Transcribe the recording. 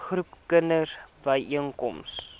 groepe kinders byeenkom